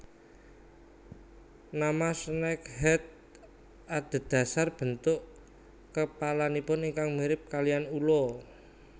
Nama snakehead adhedhasar bentuk kepalanipun ingkang mirip kaliyan ula